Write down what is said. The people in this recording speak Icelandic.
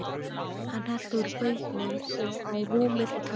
Hann hellti úr bauknum á rúmið og taldi.